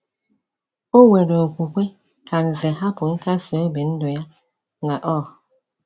O were okwukwe ka Nze hapụ nkasiobi ndụ ya n’Ur.